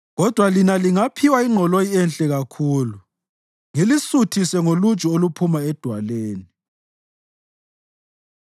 Kodwa lina lingaphiwa ingqoloyi enhle kakhulu; ngilisuthise ngoluju oluphuma edwaleni.”